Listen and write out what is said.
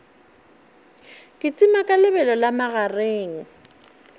kitima ka lebelo la magareng